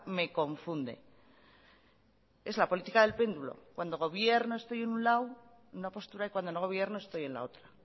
me confunde es la política del péndulo cuando gobierno estoy en un lado una postura y cuando no gobierno estoy en la otra